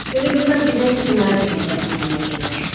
Elə bilirəm gedən kimi mənim də qeybətimi eləyəcəklər.